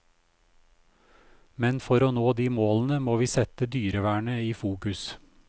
Men for å nå de målene må vi sette dyrevernet i fokus.